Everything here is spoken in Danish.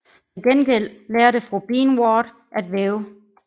Til gengæld lærte fru Bean Ward at væve